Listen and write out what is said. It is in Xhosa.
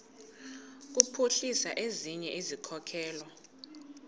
kuphuhlisa ezinye izikhokelo